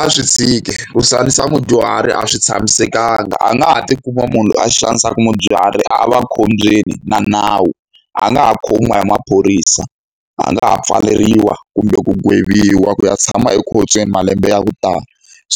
A swi tshike. Ku xanisa mudyuhari a swi tshamisekanga. A nga ha tikuma munhu loyi a xanisaka mudyuhari a va khombyeni na nawu, a nga ha khomiwa hi maphorisa, a nga ha pfaleriwa kumbe ku gweviwa, ku ya tshama ekhotsweni malembe ya ku tala.